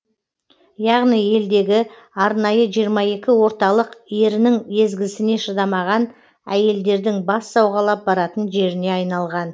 яғни елдегі арнайы жиырма екі орталық ерінің езгізіне шыдамаған әйелдердің бас сауғалап баратын жеріне айналған